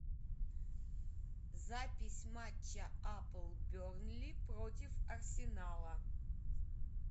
запись матча апл бернли против арсенала